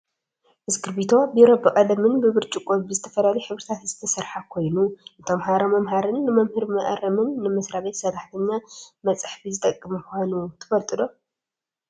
ኢስክርፒቶ /ቢሮ/ ብቀለምን ብብርጭቆ ብዝተፈላለዩ ሕብርታት ዝተሰረሓ ኮይኑ ንተማሃሮ መምሃርን ንመምህር መአረምን ንመስራቤት ሰራሕተኛ መፅሓፊ ዝጠቅም ምኳኑ ትፈልጡ ዶ ?